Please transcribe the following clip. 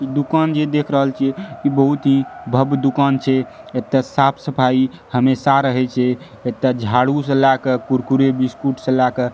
इ दुकान जे देख रहल छीये इ बहुत ही भव्य दुकान छै एते साफ-सफाई हमेशा रहे छै एते झाड़ू से लाय के कुरकुरे बिस्कुट से लाय के --